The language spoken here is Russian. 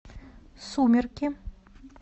сумерки